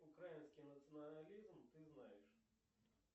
украинский национализм ты знаешь